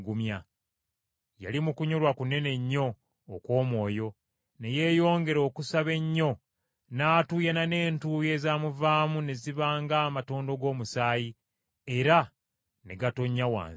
Yali mu kunyolwa kunene nnyo okw’omwoyo, ne yeeyongera okusaba ennyo n’atuuyana n’entuuyo ezamuvaamu ne ziba ng’amatondo g’omusaayi, era ne gatonnya wansi.